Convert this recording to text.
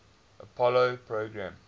apollo program